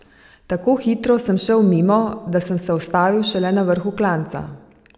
Tako hitro sem šel mimo, da sem se ustavil šele na vrhu klanca!